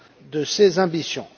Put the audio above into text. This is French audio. de ses ambitions.